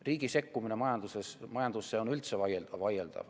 Riigi sekkumine majandusse on üldse vaieldav.